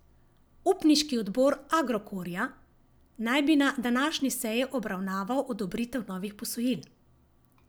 Upniški odbor Agrokorja naj bi na današnji seji obravnaval odobritev novih posojil.